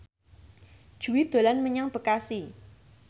Jui dolan menyang Bekasi